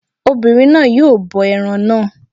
Obìnrin náà yóò bọ ẹran náà